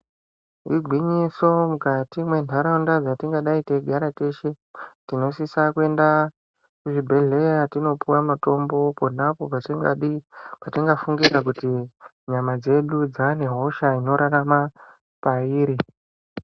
Igwinyiso mukati mwenharaunda dzatingadai tei gare teshe. Tinosisa kuenda kuzvibhedhleya tonopuva mutombo ponaapo patingadi fungira kuti nyama dzedu dzane hosha inorarama pairi.